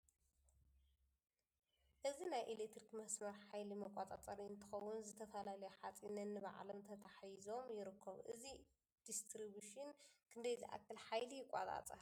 እዚ ናይ ኤለክትሪክ መስመር ሓይሊ መቆፃፀሪ እንትኮን ዝተፈላልዩ ሓፂን ነኒባዕሎም ተታሒዞም ይርከቡ ። እዚ ዲስትርቡሽን ክንደይ ዝኣክል ሓይሊ ይቆፃፀር ?